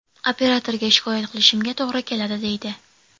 Operatorga shikoyat qilishimga to‘g‘ri keladi”, deydi.